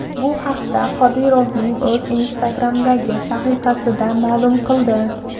Bu haqda Qodirovning o‘zi Instagram’dagi sahifasida ma’lum qildi .